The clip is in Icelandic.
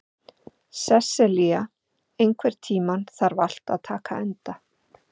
Sesselja, einhvern tímann þarf allt að taka enda.